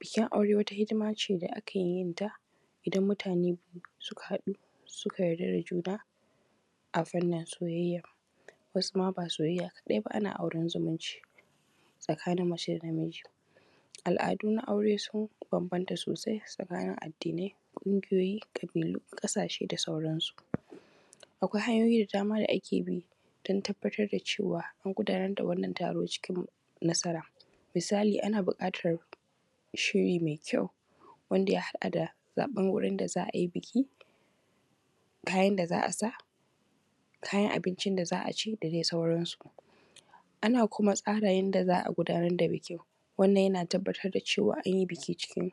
Bikin aure wata hidima ce da ake yin ta idan mutane suka haɗu suka yarda da juna a fanin soyayya wasu ma ba soyayya ba kaɗai, ana yin auren zumunci tsakanin mace da na miji. Al’adu na aure sun bambanta sosai tsakanin addinai, ƙungiyoyi, ƙabilu, ƙasashe da dai sauransu, akwai hanyoyi da dama da ake bi dan tabbatar da cewa an gudanar da wannan taro cikin nasara misali ana buƙatan shiri mai kyau wanda ya haɗa da zaɓan wurin da za a yi biki, kayan da za a sa, kayan abincin da za a ci da dai sauransu. Ana kuma tsara yanda za a gudanar da bikin wannan yana tabbatar da cewa an yi biki cikin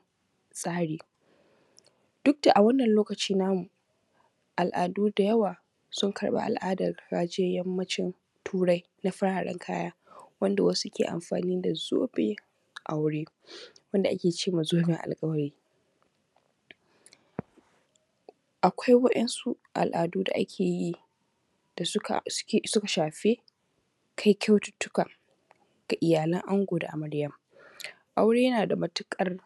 tsari duk da a wannan lokaci namu al’adu da yawa sun karɓa al’adar gajiyan yanmacin Turai na fararen kaya wanda wasu ke amfani da zobe a wuri wanda ake cema zoben alƙawari, akwai wa’yansu al’adu da ake yi da suka shafi kai kyaututuka da iyalan ango da amaryan, aure yana da matuƙar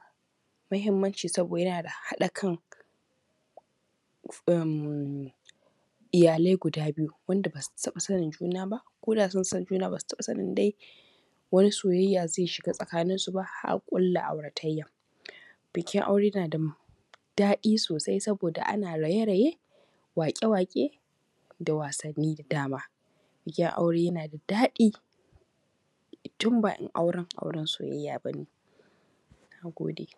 mahimmanci saboda yana da haɗa kan iyalai guda biyu wanda ba su taɓa sanin juna ba da sun san juna ba su taɓa sanin dai wani soyayya zai shiga tsakanin su ba har a ƙulla aurataya. Bikin aure na da matuƙar daɗi sosai saboda ana raye-raye, waƙe-waƙe da wasanni da dama bikin aure yana da daɗi tun bare auren soyayya ba ne. Na gode.